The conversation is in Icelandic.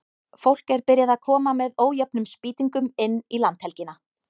Fólk er byrjað að koma með ójöfnum spýtingum inn í landhelgina.